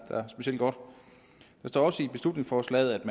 står også i beslutningsforslaget